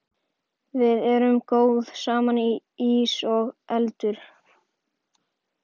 Við erum góð saman, ís og eldur.